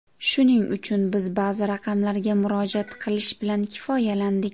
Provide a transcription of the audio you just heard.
Shuning uchun, biz ba’zi raqamlarga murojaat qilish bilan kifoyalandik.